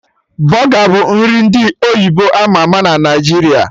Bọga bụ nri ndị oyibo ama ama na Naijiria